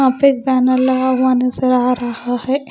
यहाँ पे बैनर लगा हुआ नज़र आ रहा है।